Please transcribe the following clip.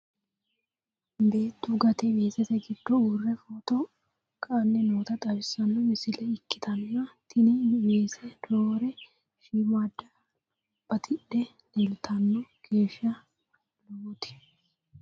Beettu gatte weesette giddo uurre biiffe footto ka'anni nootta xawissanno misile ikkittanna tini weesse roore shiimmadda battidhe leelittanno geesha lowotti